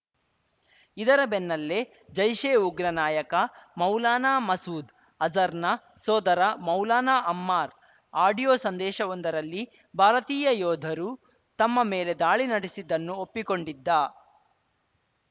ಇದರ ಬೆನ್ನಲ್ಲೇ ಜೈಷೆ ಉಗ್ರ ನಾಯಕ ಮೌಲಾನಾ ಮಸೂದ್‌ ಅಜರ್‌ನ ಸೋದರ ಮೌಲಾನಾ ಅಮ್ಮಾರ್‌ ಆಡಿಯೋ ಸಂದೇಶವೊಂದರಲ್ಲಿ ಭಾರತೀಯ ಯೋಧರು ತಮ್ಮ ಮೇಲೆ ದಾಳಿ ನಡೆಸಿದ್ದನ್ನು ಒಪ್ಪಿಕೊಂಡಿದ್ದ